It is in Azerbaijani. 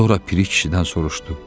Sonra Piri kişidən soruşdu: